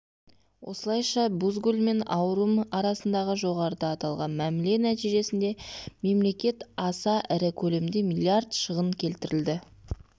осылайша мен бозгүл ауум арасындағы жоғарыда аталған мәміле нәтижесінде мемлекет аса ірі көлемде миллиард шығын келтірілді